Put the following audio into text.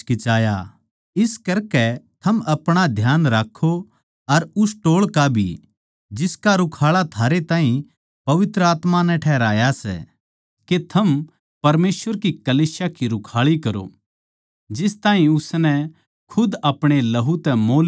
इस करकै थम अपणा ध्यान राक्खो अर उस टोळ का भी जिसका रुखाळा थारे ताहीं पवित्र आत्मा ठहराया सै के थम परमेसवर की कलीसिया की रूखाळी करो जिस ताहीं उसनै खुद अपणे लहू तै मोल लिया सै